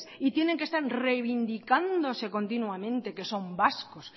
y tienen que estar reivindicándose continuamente que son vascos